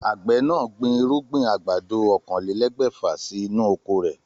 Àgbè náà gbin irúgbìn àgbàdo oókanlelégbèfà sí inú oko rè